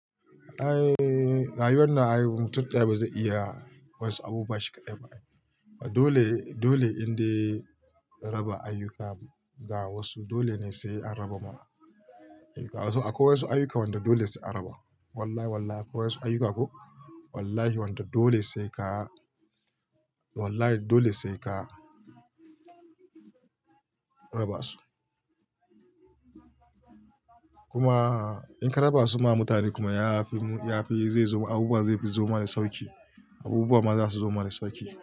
Eh, rayuwar nan ai mutum ɗaya ba zai iya wasu abubuwa shi kadai ba. Dole, dole in raba ayyuka ga wasu. Dole ne sai an raba ma ayyuka. Akwai wasu ayyuka wanda dole sai an raba. Wallahi, wallahi akwai wasu ayyuka ko wallahi wanda dole sai ka wallahi dole sai ka raba su. Kuma in ka raba su ma mutane kuma yafi, yafi abubuwa zai zo ma da sauƙi. Abubuwa ma zasu zama da sauƙi.